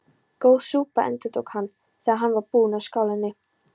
Góð súpa endurtók hann, þegar hann var búinn úr skálinni.